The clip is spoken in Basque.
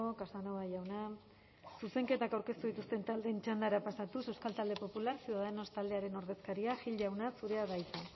casanova jauna zuzenketak aurkeztu dituzten taldeen txandara pasatuz euskal talde popular ciudadanos taldearen ordezkaria gil jauna zurea da hitza